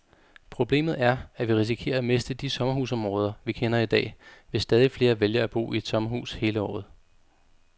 Problemet er, at vi risikerer at miste de sommerhusområder, vi kender i dag, hvis stadig flere vælger at bo i et sommerhus hele året.